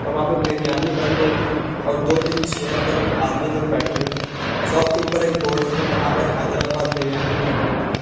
वहां पे बिरयानी बन रही है और दो तीन चेयर पर कुछ आदमी लोग बैठे हुए हैं शॉप के ऊपर एक बोर्ड है यहां पर हैदराबाद बिरयानी लिखा हुआ है।